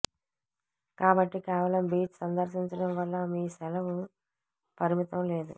కాబట్టి కేవలం బీచ్ సందర్శించడం వల్ల మీ సెలవు పరిమితం లేదు